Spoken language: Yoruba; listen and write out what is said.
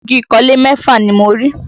Igi ìkọ́lé mẹ́fà ni mo rí